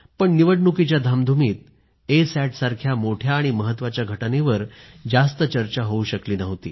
पण निवडणुकीच्या धामधुमीत ए सॅटसारख्या मोठ्या आणि महत्वाच्या घटनेवर जास्त चर्चा होऊ शकली नव्हती